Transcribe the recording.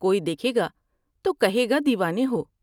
کوئی دیکھے گا تو کہے گا دیوانے ہو ۔